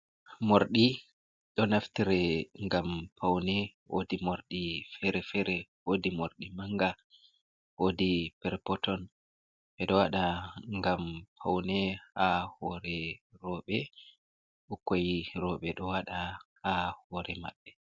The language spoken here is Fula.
Morɗi ɗo naftire ngam pawne, woodi moorɗi fere-fere. Woodi moorɗi mannga, woodi per peton. Ɓe ɗo o waɗa ngam pawne ha hoore rowɓe, ɓukkoy rowɓe ɗo waɗa ha hoore mabɓe.